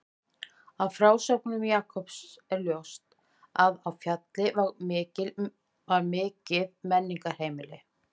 Af frásögnum Jakobs er ljóst að á Fjalli var mikið menningarheimili.